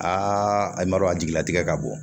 Aa a yamaruya jigila tigɛ ka bɔ